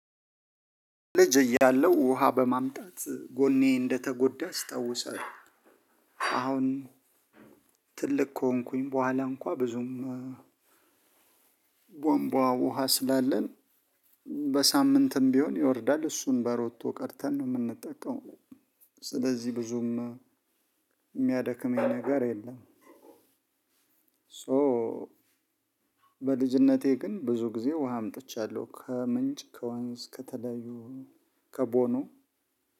ልጅ እያለሁ ውሃ በማምጣት ጎኔ እንደተጎዳ አስታውሳለሁ። አሁን ትልቅ ከሆንኩኝ በኋላ እንኳን ብዙም ቧንቧ ውሃ ስላለን በሳምንትም ቢሆን ይወርዳል እሱን በሮቶ ቀርተን ነው የምንጠቀመው። ስለዚህ ብዙም ሚያደክመኝ ነገር የለም። ሶ በልጅነቴ ግን ብዙ ጊዜ ውሃ አምጥቻለሁ። ከምንጭ፣ ከወንዝ፣ ከተለያዩ ከቦኖ